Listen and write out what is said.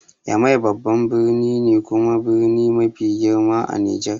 Yamai babban birni ne kuma birni mafi girma a Nijar.